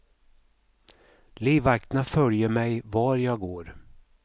Livvakterna följer mig var jag går.